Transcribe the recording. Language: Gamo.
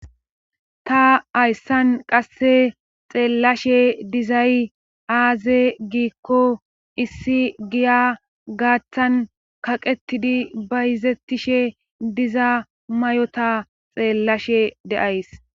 Ta hayssan qasse xeellashe dizay aaze giikko issi giya gaaththan kaqetidi bayzettishe diza mayota xeellashe deays